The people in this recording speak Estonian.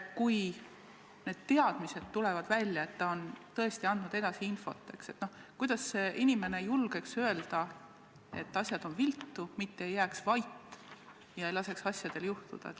Kui need teadmised tulevad välja, et ta on tõesti edasi andnud infot, siis kuidas see inimene julgeks öelda, et asjad on viltu, mitte ei jääks vait ega laseks asjadel juhtuda?